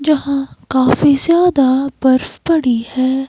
जहां काफी ज्यादा बर्फ पड़ी है।